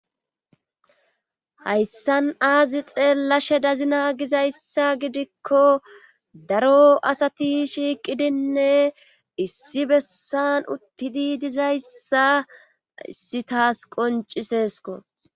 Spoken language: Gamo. Hayssan aazi xeellashe dazina gizayssa gidikko daro asati shiiqidinne issi bessan uttidi dizayssa issi taas qoncisesko